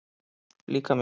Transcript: Líka mér.